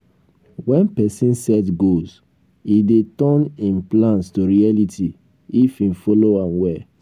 when person set goals e dey turn im plans to reality if im follow am well